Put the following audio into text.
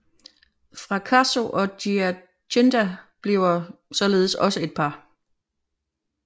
Fracasso og Giacinta bliver således også et par